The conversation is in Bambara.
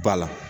Ba la